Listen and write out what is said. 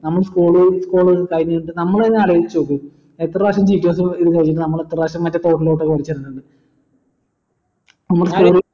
നമ്മ school college കഴിഞ്ഞിട്ട് നമ്മളെന്നെ അലോയിച്ചുനോക്ക് എത്ര പ്രാവിശ്യം teachers നമ്മൾ എത്ര പ്രാവിശ്യം മറ്റേ തോട്ടിലോട്ട് കുളിച്ചിട്ടുണ്ടെന്ന്